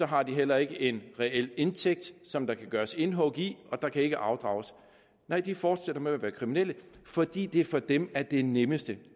har de heller ikke en reel indtægt som der kan gøres indhug i og der kan ikke afdrages nej de fortsætter med at være kriminelle fordi det for dem er det nemmeste